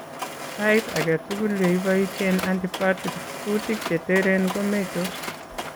Saiit age tugul yeboisien antibiotics kuutik chetereen komeitos